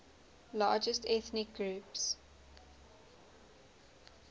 largest ethnic groups